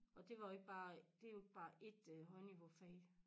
Og det var ikke bare det jo ikke bare ét øh højniveaufag